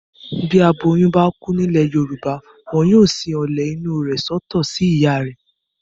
Bí aboyún bá kú nílẹ̀ Yorùbá. Wọn yóò sin ọ̀lẹ̀ inú rẹ̀ sọ́tọ̀ sí ìyá rẹ̀.